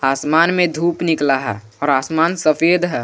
आसमान में धूप निकला है और आसमान सफेद है।